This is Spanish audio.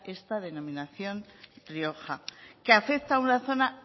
esta denominación rioja que afecta a una zona